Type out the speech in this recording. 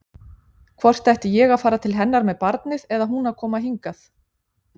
Hvort ég ætti að fara til hennar með barnið eða hún að koma hingað.